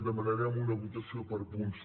demanarem una votació per punts